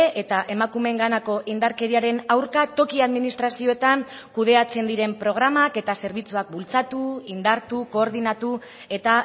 eta emakumeenganako indarkeriaren aurka toki administrazioetan kudeatzen diren programak eta zerbitzuak bultzatu indartu koordinatu eta